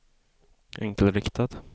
enkelriktad